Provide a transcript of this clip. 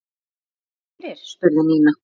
Kom nokkuð fyrir? spurði Nína.